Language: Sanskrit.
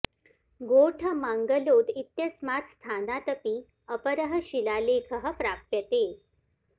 गोठ मांगलोद इत्यस्मात् स्थानात् अपि अपरः शिलालेखः प्राप्यते